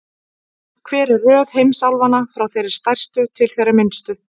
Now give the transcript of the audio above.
Hver er röð heimsálfanna, frá þeirri stærstu til þeirrar minnstu?